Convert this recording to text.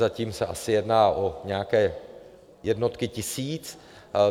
Zatím se asi jedná o nějaké jednotky tisíc.